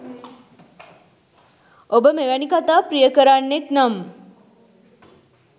ඔබ මෙවැනි කතා ප්‍රියකරන්නෙක් නම්